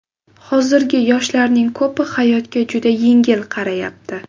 Hozirgi yoshlarning ko‘pi hayotga juda yengil qarayapti.